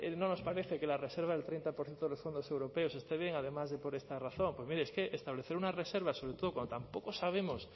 no nos parece que la reserva del treinta por ciento de los fondos europeos esté bien además de por esta razón pues mire es que establecer una reserva sobre todo cuando tampoco sabemos